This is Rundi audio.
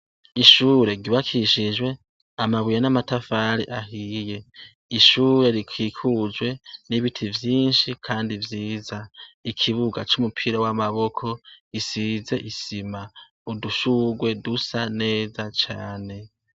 Ishure ryubakishijwe amabuye n'amatafari ahiye ishure rikikujwe n'ibiti vyinshi kandi vyiza. Ikibuga c'umupira w'amaboko gisize isima udushurwe dusa neza cane.